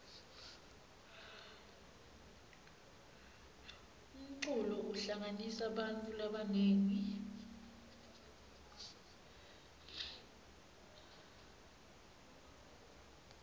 umculo uhlanganisa bantfu labanengi